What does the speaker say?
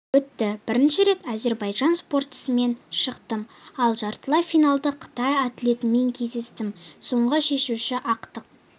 өтті бірінші рет әзербайжан спортшысымен шықтым ал жартылай финалда қытай атлетімен кездестім соңғы шешуші ақтық